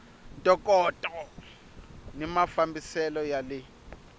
ntokoto ni mafambisele ya le